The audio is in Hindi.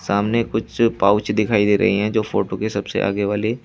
सामने कुछ पाउच दिखाई दे रही है जो फोटो की सबसे आगे वाले--